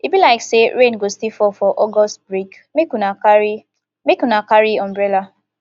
e be like sey rain go still fall for august break make una carry make una carry umbrella